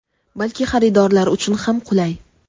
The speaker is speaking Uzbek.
balki xaridorlar uchun ham qulay.